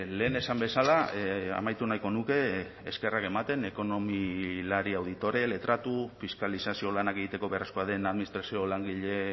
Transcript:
lehen esan bezala amaitu nahiko nuke eskerrak ematen ekonomilari auditore letratu fiskalizazio lanak egiteko beharrezkoa den administrazio langile